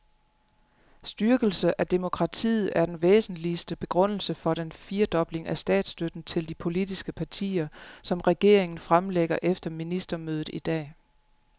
Styrkelse af demokratiet er den væsentligste begrundelse for den firedobling af statsstøtten til de politiske partier, som regeringen fremlægger efter ministermødet i dag.